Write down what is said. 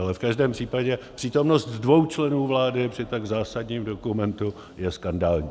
Ale v každém případě přítomnost dvou členů vlády při tak zásadním dokumentu je skandální.